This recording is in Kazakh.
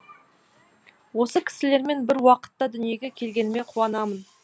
осы кісілермен бір уақытта дүниеге келгеніме қуанамын